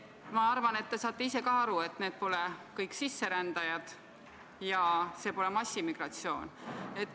Ma arvan, et te saate ka ise aru, et need pole kõik sisserändajad ja see pole massimigratsioon.